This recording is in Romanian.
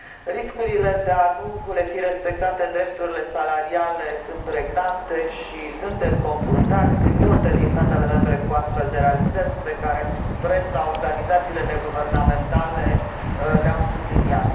Riscurile de a nu le fi respectate drepturile salariale sunt pregnante și suntem confruntați în multe din statele membre cu astfel de realități pe care presa și organizațiile neguvernamentale le au subliniat.